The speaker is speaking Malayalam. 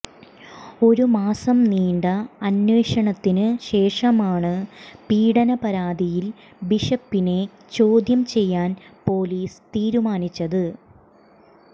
ഒരു മാസം നീണ്ട അന്വേഷണത്തിനു ശേഷമാണ് പീഡന പരാതിയിൽ ബിഷപ്പിനെ ചോദ്യം ചെയ്യാൻ പൊലീസ് തീരുമാനിച്ചത്